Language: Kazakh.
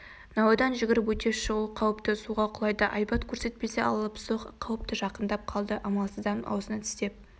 науадан жүгіріп өте шығу қауіпті суға құлайды айбат көрсетпесе алыпсоқ қауіпті жақындап қалды амалсыздан аузына тістеп